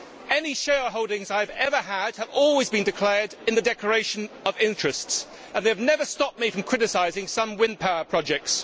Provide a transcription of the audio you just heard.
Any shareholdings I have ever had have always been declared in the declaration of interests, and they have never stopped me from criticising some wind power projects.